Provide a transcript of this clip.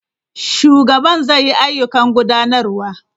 Shugaban zai yi ayyukan gudanarwa.